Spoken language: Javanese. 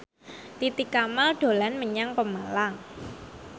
Titi Kamal dolan menyang Pemalang